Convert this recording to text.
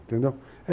Entendeu?